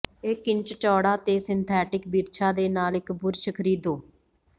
ਇਕ ਇੰਚ ਚੌੜਾ ਤੇ ਸਿੰਥੈਟਿਕ ਬਿਰਛਾਂ ਦੇ ਨਾਲ ਇੱਕ ਬੁਰਸ਼ ਖਰੀਦੋ